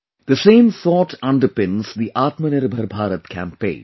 The same thought underpins the Atmanirbhar Bharat Campaign